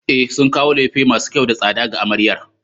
E, sun kawo lefe masu kyau da tsada ga amaryar.